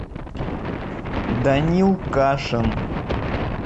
данил кашин